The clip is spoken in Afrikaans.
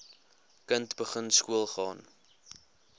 kind begin skoolgaan